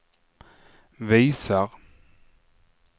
visar